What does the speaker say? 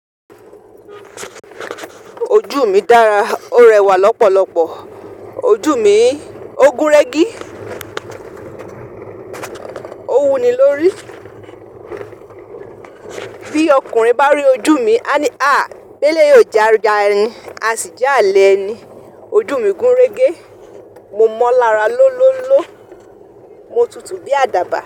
Ojú mi dára, ó rẹwà lọ́pọ̀lọpọ̀. Ojú mi, ó gúnrégé. Ó wuni lórí. Bí ọkùnrin bá rí ojú mi, á ní à, béélé yìí ó jẹ́ aya ẹni, a sì jẹ́ álè ẹni. Ojú mi gúnrégé, mo mọ́ lára lólóló, mo tutù bí àdàbà.